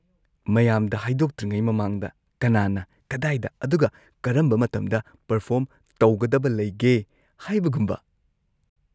ꯃꯌꯥꯝꯗ ꯍꯥꯏꯗꯣꯛꯇ꯭ꯔꯤꯉꯩ ꯃꯃꯥꯡꯗ ꯀꯅꯥꯅ ꯀꯗꯥꯏꯗ ꯑꯗꯨꯒ ꯀꯔꯝꯕ ꯃꯇꯝꯗ ꯄꯔꯐꯣꯔꯝ ꯇꯧꯒꯗꯕ ꯂꯩꯒꯦ ꯍꯥꯏꯕꯒꯨꯝꯕ꯫